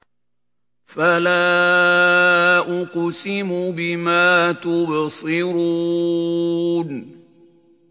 فَلَا أُقْسِمُ بِمَا تُبْصِرُونَ